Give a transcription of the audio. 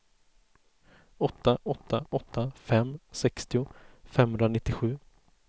åtta åtta åtta fem sextio femhundranittiosju